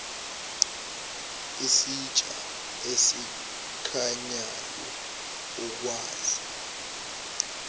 isitsha esikhanyayo okwazi